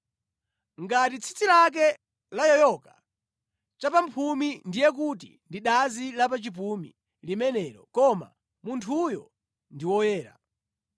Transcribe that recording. Ngati tsitsi lake layoyoka chapamphumi ndiye kuti ndi dazi la pa chipumi limenelo koma munthuyo ndi woyera.